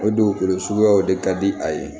O dugukolo suguyaw de ka di a ye